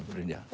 Brynja